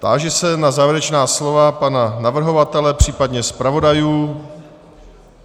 Táži se na závěrečná slova pana navrhovatele, případně zpravodajů.